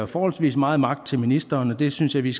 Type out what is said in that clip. forholdsvis meget magt til ministeren og det synes jeg vi